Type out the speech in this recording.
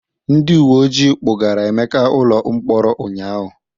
Ndị uwe ojii kpụgara Emeka ụlọ mkpọrọ ụnyaahụ.